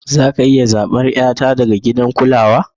Za a iya zabar 'yata daga gidan kulawa?